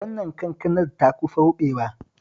Wannan kankanar ta kusa ruɓewa